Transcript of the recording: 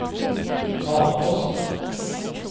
talepost